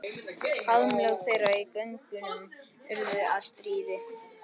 Faðmlög þeirra í göngunum urðu að stríði.